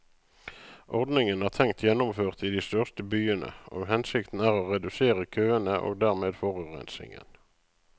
Ordningen er tenkt gjennomført i de største byene, og hensikten er å redusere køene og dermed forurensningen.